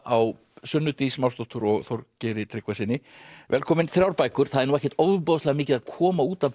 á Sunnu Dís Másdóttur og Þorgeiri Tryggvasyni velkomin þrjár bækur það er ekkert ofboðslega mikið að koma út af